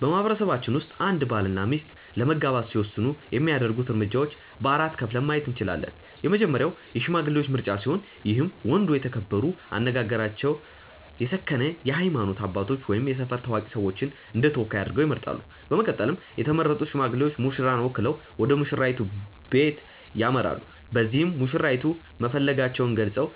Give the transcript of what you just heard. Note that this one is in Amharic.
በማህበረሰባችን ውስጥ አንድ ባል እና ሚስት ለመጋባት ሲወስኑ የሚያደርጉት እርምጃዎች በ4 ከፍለን ማየት እንችላለን። የመጀመሪያው የሽማግሌዎች ምርጫ ሲሆን ይህም ወንዱ የተከበሩ፣ አነጋገራቸው የሰከነ የሃይማኖት አባቶች ወይም የሰፈር ታዋቂ ሰዎችን እንደተወካይ አድርገው ይመርጣሉ። በመቀጠልም የተመረጡት ሽማግሌዎች ሙሽራን ወክለው ወደሙሽራይቱ በለት ያመራሉ። በዚህም መሽራይቱን መፈለጋቸውን ገልፀው